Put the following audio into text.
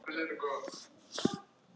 Þú ræður!